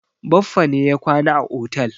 Baffa ne ya kwana a otel.